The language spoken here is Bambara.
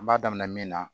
N b'a daminɛ min na